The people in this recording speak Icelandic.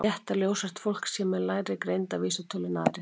Er rétt að ljóshært fólk sé með lægri greindarvísitölu en aðrir?